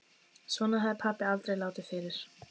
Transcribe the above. Svona hafði pabbi aldrei látið fyrr.